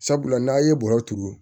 Sabula n'a ye bɔrɔ turu